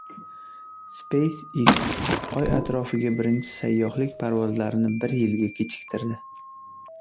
SpaceX Oy atrofiga birinchi sayyohlik parvozlarini bir yilga kechiktirdi.